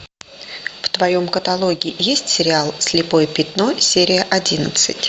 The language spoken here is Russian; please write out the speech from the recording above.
в твоем каталоге есть сериал слепое пятно серия одиннадцать